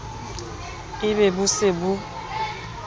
e be bo se bo